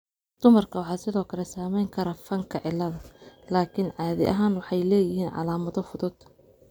Dumarka waxaa sidoo kale saameyn kara fanka cilada, laakiin caadi ahaan waxay leeyihiin calaamado fudud.